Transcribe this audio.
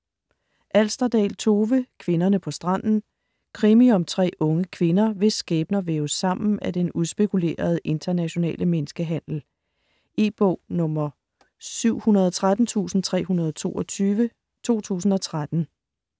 Alsterdal, Tove: Kvinderne på stranden Krimi om tre unge kvinder, hvis skæbner væves sammen af den udspekulerede internationale menneskehandel. E-bog 713322 2013.